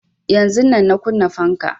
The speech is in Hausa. Yanzun nan na kunna fanka